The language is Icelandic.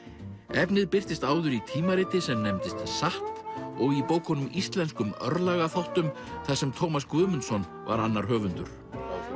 efnið birtist áður í tímariti sem nefndist satt og í bókunum Íslenskum þar sem Tómas Guðmundsson var annar höfundur